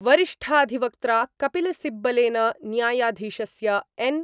वरिष्ठाधिवक्त्रा कपिलसिब्बलेन न्यायाधीशस्य एन् .